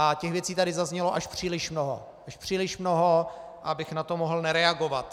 A těch věcí tady zaznělo až příliš mnoho, až příliš mnoho, abych na to mohl nereagovat.